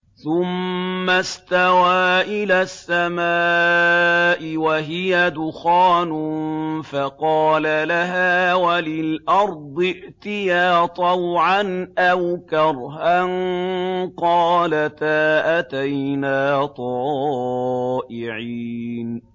ثُمَّ اسْتَوَىٰ إِلَى السَّمَاءِ وَهِيَ دُخَانٌ فَقَالَ لَهَا وَلِلْأَرْضِ ائْتِيَا طَوْعًا أَوْ كَرْهًا قَالَتَا أَتَيْنَا طَائِعِينَ